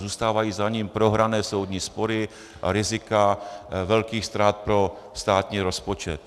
Zůstávají za ním prohrané soudní spory a rizika velkých ztrát pro státní rozpočet.